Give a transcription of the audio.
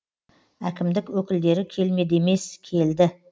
әкімдік өкілдері келмеді емес келді